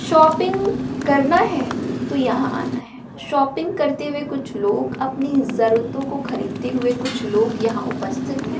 Shopping करना है तो यहां आना है शॉपिंग करते हुए कुछ लोग अपनी जरूरतों को खरीदते हुए कुछ लोग यहां उपस्थित है।